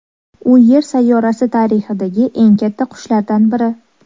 U Yer sayyorasi tarixidagi eng katta qushlardan biri.